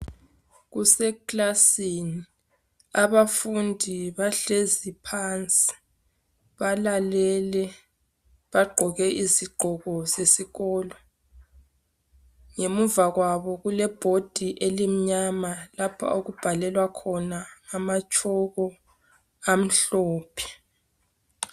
Kuseklasini abafundi bahlezi phansi, balalele, bagqoke izigqoko zesikolo. Ngemuva kwabo kulebhodi elimnyama lapha okubhalelwa khona ngamatshoko amhlophe.